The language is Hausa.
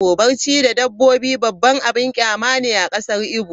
Barci da dabbobi babban abin kyama ne a kasar Igbo.